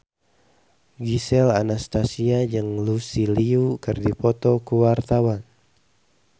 Gisel Anastasia jeung Lucy Liu keur dipoto ku wartawan